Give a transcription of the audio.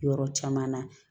Yɔrɔ caman na